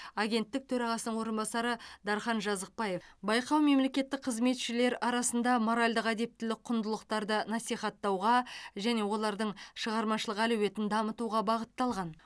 агенттік төрағасының орынбасары дархан жазықбаев байқау мемлекеттік қызметшілер арасында моральдық әдептілік құндылықтарды насихаттауға және олардың шығармашылық әлеуетін дамытуға бағытталған